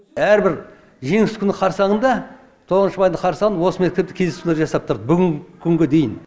әрбір жеңіс күні қарсаңында тоғызыншы майдың қарсаңында осы мектепте кездесулер жасап тұрды бүгінгі күнге дейін